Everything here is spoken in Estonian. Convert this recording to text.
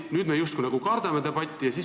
Nüüd me justkui kardame debatti.